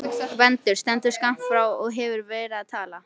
Gvendur stendur skammt frá og hefur verið að tala.